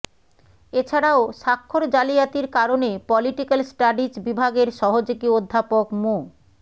এছাড়াও স্বাক্ষর জালিয়াতির কারণে পলিটিক্যাল স্টাডিজ বিভাগের সহযোগী অধ্যাপক মো